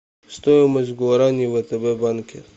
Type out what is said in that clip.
стоимость гуарани в втб банке